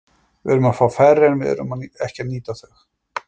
Við erum að fá færi en erum ekki að nýta þau.